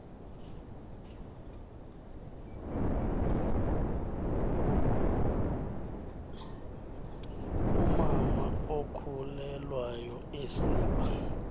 umama okhulelwayo esiba